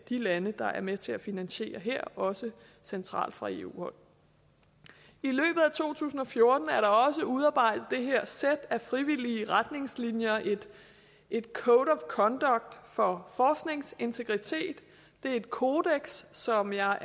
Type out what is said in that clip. de lande der er med til at finansiere det her også centralt fra eu hold i løbet af to tusind og fjorten er der også blevet udarbejdet det her sæt af frivillige retningslinjer et code of conduct for forskningsintegritet det er et kodeks som jeg er